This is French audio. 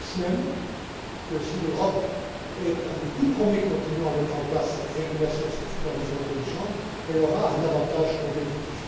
Je pense même que, si l'Europe est un des tout premiers continents à mettre en place cette régulation et cette supervision intelligentes, elle aura un avantage compétitif.